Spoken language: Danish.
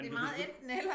Men de kan selvfølgelig